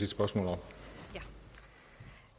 spørgsmål